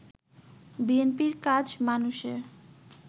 বিএনপির কাজ মানুষের